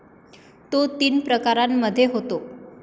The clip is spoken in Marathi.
तो तीन प्रकारांमध्ये होतो.